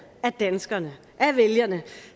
af danskerne af vælgerne